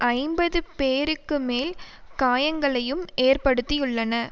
ஐம்பது பேருக்கு மேல் காயங்களையும் ஏற்படுத்தியுள்ளன